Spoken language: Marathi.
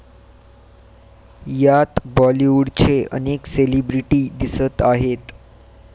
यात बॉलिवूडचे अनेक सेलिब्रेटी दिसत आहेत.